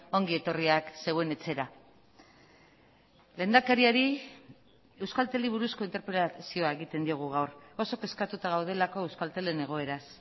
ongi etorriak zeuen etxera lehendakariari euskalteli buruzko interpelazioa egiten diogu gaur oso kezkatuta gaudelako euskaltelen egoeraz